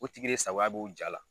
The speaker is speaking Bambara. O tigi de sagoya b'o jaa la.